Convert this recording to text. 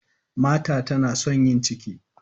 Martha tana son yin ciki.